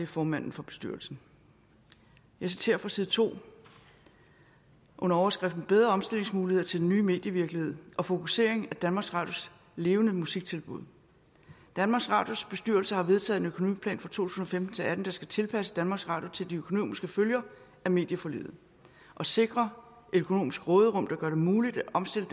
formanden for bestyrelsen jeg citerer fra side to under overskriften bedre omstillingsmuligheder til den nye medievirkelighed og fokusering af danmarks radios levende musiktilbud danmarks radios bestyrelse har vedtaget en økonomiplan for to tusind og femten til atten der skal tilpasse danmarks radio til de økonomiske følger af medieforliget og sikre et økonomisk råderum der gør det muligt at omstille